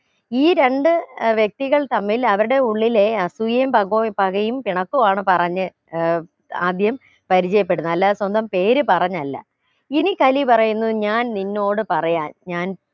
ഈ രണ്ട് ഏർ വ്യക്തികൾ തമ്മിൽ അവരുടെ ഉള്ളിലെ അസൂയയും പകവു പകയും പിണക്കവുമാണ് പറഞ്ഞ് ഏർ ആദ്യം പരിചയപ്പെടുന്നെ അല്ലാതെ സ്വന്തം പേര് പറഞ്ഞല്ല ഇനി കലി പറയുന്നത് ഞാൻ നിന്നോട് പറയാൻ ഞാൻ